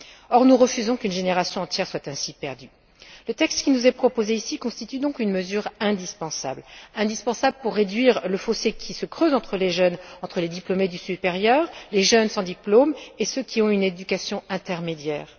Or, nous refusons qu'une génération entière soit ainsi perdue. Le texte qui nous est proposé ici constitue donc une mesure indispensable pour réduire le fossé qui se creuse entre les jeunes, les diplômés du supérieur, les jeunes sans diplôme et ceux qui ont eu une éducation intermédiaire.